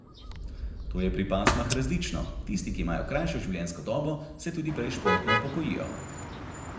To je pri pasmah različno, tisti, ki imajo krajšo življenjsko dobo, se tudi prej športno upokojijo.